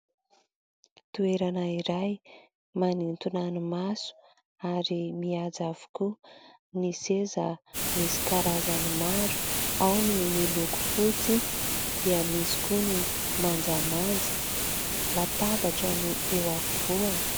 Toerana iray manintona ny maso ary mihaja avokoa ny seza. Misy karazany maro ao : ny miloko fotsy dia misy koa ny manjamanja, latabatra no eo afovoany.